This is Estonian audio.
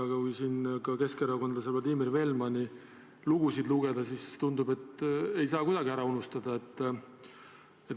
Aga kui näiteks keskerakondlase Vladimir Velmani lugusid lugeda, siis tundub, et ei saa kuidagi ära unustada.